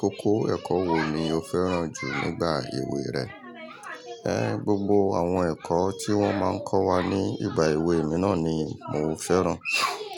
Kókó ẹ̀kọ́ wò ni o fẹ́ràn jù nígbà ewé rẹ? Ẹ́, gbogbo àwọn ẹ̀kọ́ tí wọ́n máa ń kọ́ wa ní ìgbà èwe mi náà ni mo fẹ́ràn.